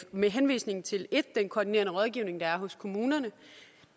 med henvisning til den koordinerende rådgivning der er hos kommunerne